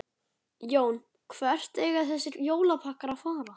Jón: Hvert eiga þessir jólapakkar að fara?